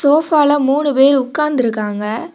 சோஃபால மூணு பேர் உக்காந்திருகாங்க.